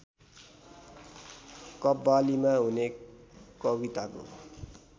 कव्वालीमा हुने कविताको